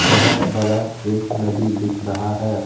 बहुत बड़ा एक नदी दिख रहा है।